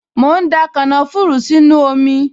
Mò ń da kànáfùrù sínú omi